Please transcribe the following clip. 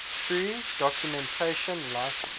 free documentation license